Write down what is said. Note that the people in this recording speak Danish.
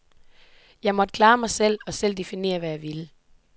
Jeg måtte klare mig selv og selv definere, hvad jeg ville.